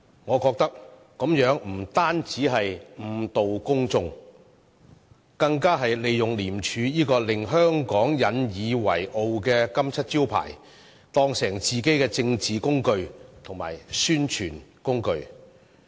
我覺得這樣不單誤導公眾，更利用了廉署這個令香港引以自豪的金漆招牌，將之當作自己的政治工具和宣傳工具。